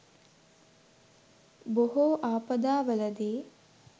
බොහෝ ආපදාවලදී